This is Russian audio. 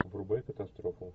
врубай катастрофу